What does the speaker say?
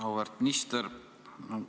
Auväärt minister!